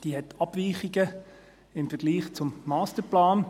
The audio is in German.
Diese enthält Abweichungen im Vergleich zum Masterplan.